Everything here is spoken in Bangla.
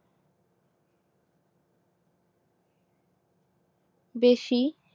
বেশি